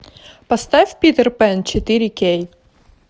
поставь питер пэн четыре кей